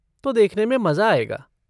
तो देखने में मज़ा आएगा।